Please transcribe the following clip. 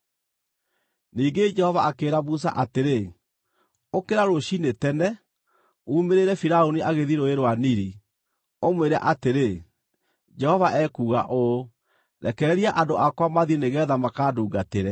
Ningĩ Jehova akĩĩra Musa atĩrĩ, “Ũkĩra rũciinĩ tene, uumĩrĩre Firaũni agĩthiĩ Rũũĩ rwa Nili, ũmwĩre atĩrĩ, ‘Jehova ekuuga ũũ: Rekereria andũ akwa mathiĩ nĩgeetha makandungatĩre.